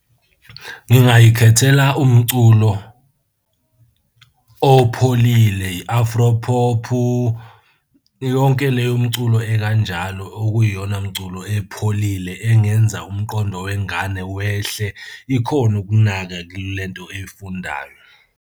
Ngingay'khethela umculo opholile i-afro pop-u, yonke leyo mculo ekanjalo okuyiyona mculo epholile engenza umqondo wengane wehle, ikhone ukunaka kule nto eyifundayo.